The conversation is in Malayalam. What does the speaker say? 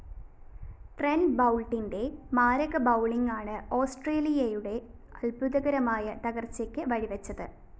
ട്രെന്റ് ബൗള്‍ട്ടിന്റെ മാരക ബൗളിംഗാണ് ഓസ്‌ട്രേലിയയുടെ അത്ഭുതകരമായ തകര്‍ച്ചക്ക് വഴിവെച്ചത്